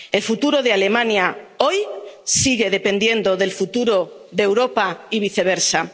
El futuro de Alemania, hoy, sigue dependiendo del futuro de Europa y viceversa.